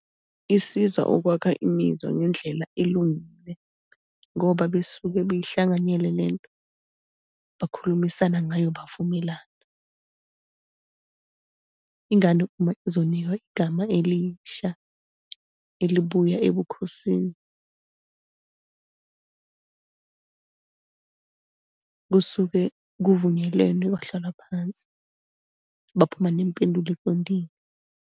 Isiza ukwakha imizwa ngendlela elungile ngoba besuke beyihlanganyele lento, bakhulumisana ngayo, bavumelana. Ingane uma izonikwa igama elisha, elibuya ebukhosini, kusuke kuvunyelwene, kwahlalwa phansi, baphuma nempendulo eqondile.